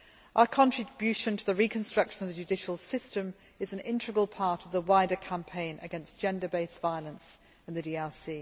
Our contribution to the reconstruction of the judicial system is an integral part of the wider campaign against gender based violence in the DRC.